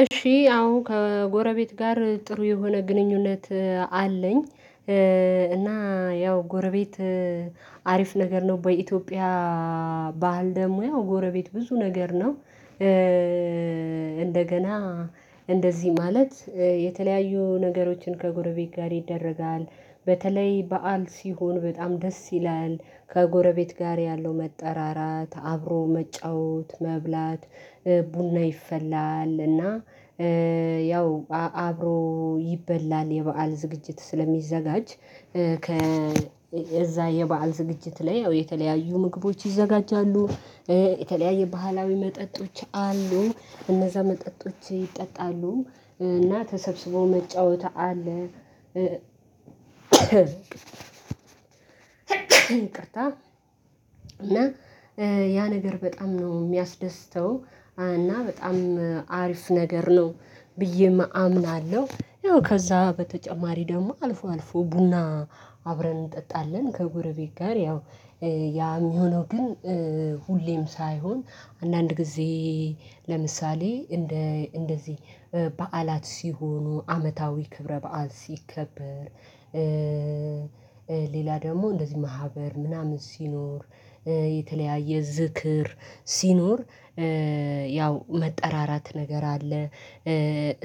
እሺ አሁን ከጎረቤት ጋር ጥሩ የሆነ ግንኙነት አለኝ እና ያው ጎረቤት አሪፍ ነገር ነው። በኢትዮጵያ ባህል ደግሞ ያው ጎረቤት ብዙ ነገር ነው። እንደገና እንደዚህ ማለት የተለያዩ ነገሮችን ከጎረቤት ጋር ይደረጋል በተለይ በዓል ሲሆን በጣም ደስ ይላል ከጎረቤት ጋር ያለው መጠራራት፣ አብሮ መጫወት፣ መብላት ቡና ይፈላል እና ያው አብሮ ይበላል የበአል ዝግጅት ስለሚዘጋጅ ከ እዛ የበአል ዝግጅት ላይ ያው የተለያዩ ምግቦች ይዘጋጃሉ የተለያየ ባህላዊ መጠጦች አሉ እነዛ መጠጦች ይጠጣሉ እና ተሰብስበው መጫወት አለ፤። ይቅርታ እና ያ ነገር በጣም ነው የሚያስደስተው እና በጣም አሪፍ ነገር ነው። ብዬም አምናለሁ ያው ከዛ በተጨማሪ ደግሞ አልፎ አልፎ ቡና አብረን እንጠጣለን ከጎረቤት ጋር ያው ያ የሚሆነው ግን ሁሌም ሳይሆን አንዳንድ ጊዜ ለምሳሌ እንደ እንደዚህ በዓላት ሲሆኑ አመታዊ ክብረ በዓል ሲከበር ሌላ ደግሞ እንደዚህ ማህበር ምናምን ሲኖር የተለያየ ዝክር ሲኖር ያው መጠራራት ነገር አለ፤።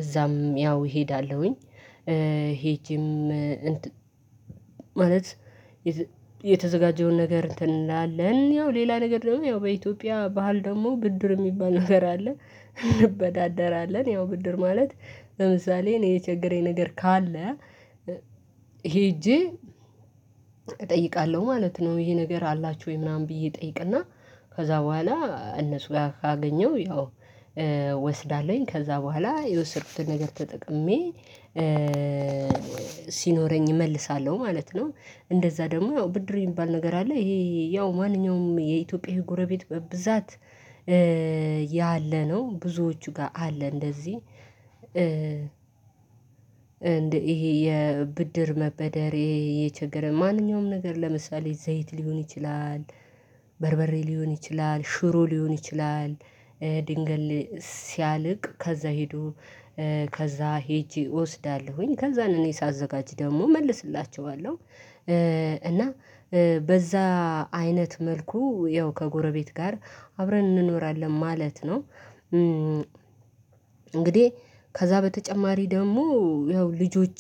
እዛም ያው እሄዳለሁኝ ሄጄም ማለት የተዘጋጀውን ነገር እንትን እንላለን ያው ሌላ ነገር ደግሞ ያው በኢትዮጵያ ባህል ደግሞ ብድር የሚባል ነገር አለ። እንበዳደራለን ያው ብድር ማለት ለምሳሌ እኔ የቸገረኝ ነገር ካለ ሄጄ እጠይቃለሁ ማለት ነው። ይሄ ነገር አላችሁ ወይ ምናምን ብዬ እጠይቅና ከዛ በኋላ እነሱ ጋር ካገኘሁ ያው ወስዳለኝ ከዛ በኋላ የወሰድኩትን ነገር ተጠቅሜ ሲኖረኝ እመልሳለሁ ማለት ነው። እንደዛ ደግሞ ብድር የሚባል ነገር አለ ይሄ ያው ማንኛውም የኢትዮጵያ ጎረቤት በብዛት ያለነው ብዙዎቹ ጋር አለ እንደዚህ ይሄ የብድር መበደሬ የቸገረ ማንኛውም ነገር ለምሳሌ ዘይት ሊሆን ይችላል። በርበሬ ሊሆን ይችላል ሽሩ ሊሆን ይችላል። ድንገል ሲያልቅ ከዛ ሄዶ ከዛ ሄጄ እወስዳለሁኝ ከዛ ነው እኔ ሳዘጋጅ ደግሞ እመልስላቸዋለሁ እና በዛ አይነት መልኩ ያው ከጎረቤት ጋር አብረን እንኖራለን ማለት ነው። እንግዲህ ከዛ በተጨማሪ ደግሞ ያው ልጆች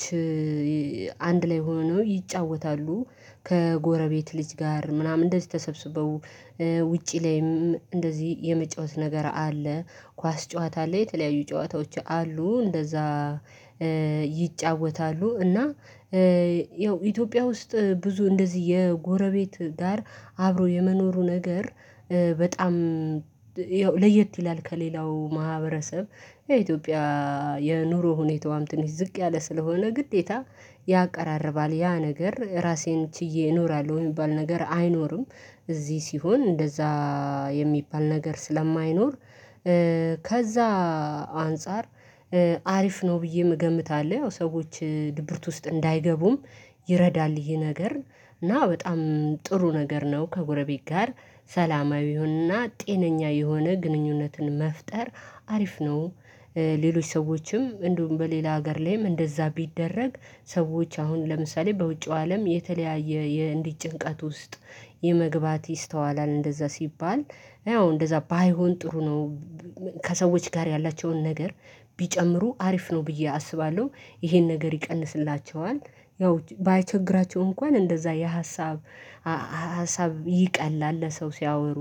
አንድ ላይ ሆነው ይጫወታሉ፤ ከጎረቤት ልጅ ጋር ምናምን እንደዚህ ተሰብስበው ውጪ ላይም እንደዚህ የመጫወት ነገር አለ ኳስ ጨዋታ አለ የተለያዩ ጨዋታዎች አሉ እንደዛ። ይጫወታሉ እና ያው ኢትዮጵያ ውስጥ ብዙ እንደዚህ የጎረቤት ጋር አብሮ የመኖሩ ነገር በጣም ለየት ይላል ከሌላው ማህበረሰብ የኢትዮጵያ የኑሮ ሁኔታዋም ትንሽ ዝቅ ያለ ስለሆነ ግዴታ ያቀራርባል ያ ነገር ራሴን ችዬ እኖራለሁ የሚባል ነገር አይኖርም እዚህ ሲሆን እንደዛ የሚባል ነገር ስለማይኖር ከዛ አንፃር አሪፍ ነው ብዬም እገምታለሁ። ያው ሰዎች ድብርት ውስጥ እንዳይገቡም ይረዳል ይሄ ነገር እና በጣም ጥሩ ነገር ነው ከጎረቤት ጋር ሰላማዊ የሁንና ጤነኛ የሆነ ግንኙነትን መፍጠር አሪፍ ነው። ሌሎች ሰዎችም እንደውም በሌላ ሀገር ላይም እንደዛ ቢደረግ ሰዎች አሁን ለምሳሌ በውጪው አለም የተለያየ የእንዲህ ጭንቀት ውስጥ የመግባት ይስተዋላል እንደዛ ሲባል ያው እንደዛ ባይሆን ጥሩ ነው። ከሰዎች ጋር ያላቸውን ነገር ቢጨምሩ አሪፍ ነው ብዬ አስባለሁ ይሄን ነገር ይቀንስላቸዋል ያው ባይቸግራቸው እንኳን እንደዛ የሀሳብ ሀሳብ ይቀላል ለሰው ሲያወሩ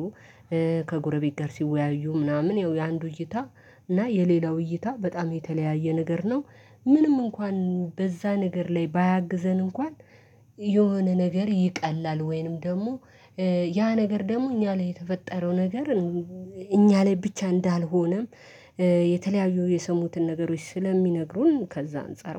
ከጎረቤት ጋር ሲወያዩ ምናምን ያው የአንዱ እይታ እና የሌላው እይታ በጣም የተለያየ ነገር ነው። ምንም እንኳን በዛ ነገር ላይ ባያግዘን እንኳን የሆነ ነገር ይቀላል ወይንም ደግሞ ያ ነገር ደግሞ እኛ ላይ የተፈጠረው ነገር እኛ ላይ ብቻ እንዳልሆነም የተለያዩ የሰሙትን ነገሮች ስለሚነግሩን ከዛ አንፃር